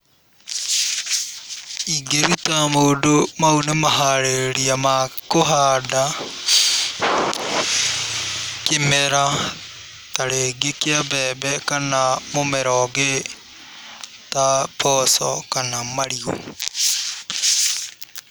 Ingĩruta mũndũ mau nĩ maharĩrĩria ma kũhanda, kĩmera ta rĩngĩ kĩa mbembe kana mũmera ũngĩ ta mboco, kana marigũ.